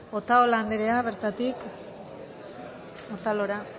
otalora anderea bertatik otalora